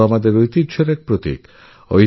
কেল্লা তো আমাদের ঐতিহ্যেরপ্রতীক